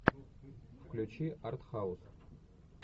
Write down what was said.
включи артхаус